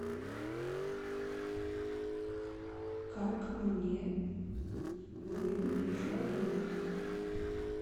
как мне выбить еще одно место